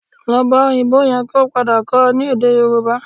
Lọ bá òyìnbó yẹn kí ó padà kọ́ ọ ní èdè Yorùbá